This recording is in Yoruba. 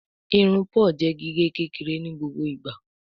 Irun Paul jé gige kékeré ní gbogbo ìgba.